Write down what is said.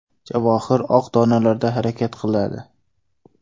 Javohir oq donalarda harakat qiladi.